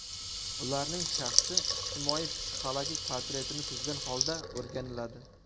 Ularning shaxsi ijtimoiy-psixologik portretini tuzgan holda o‘rganiladi.